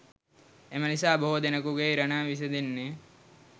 එම නිසා බොහෝ දෙනෙකුගේ ඉරණම විසඳෙන්නේ